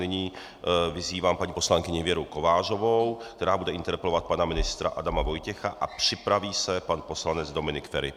Nyní vyzývám paní poslankyni Věru Kovářovou, která bude interpelovat pana ministra Adama Vojtěcha, a připraví se pan poslanec Dominik Feri.